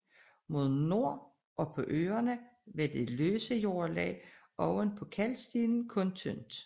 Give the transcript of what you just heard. Mod nord og på øerne var det løse jordlag oven på kalkstenen kun tyndt